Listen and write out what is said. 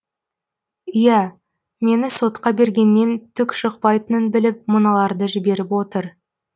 ия мені сотқа бергеннен түк шықпайтынын біліп мыналарды жіберіп отыр